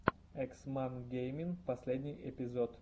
экс мак геймин последний эпизод